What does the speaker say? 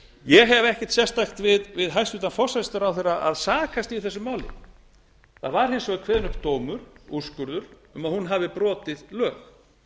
ég hef ekkert sérstakt við hæstvirtan forsætisráðherra að sakast í þessu máli það var hins vegar kveðinn upp dómur úrskurður um að hún hafi brotið lög